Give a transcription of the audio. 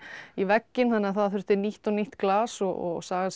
í vegginn þannig að það þurfti nýtt og nýtt glas og sagan segir